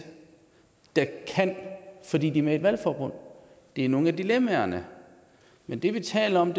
der kan fordi den er et valgforbund det er nogle af dilemmaerne men det vi taler om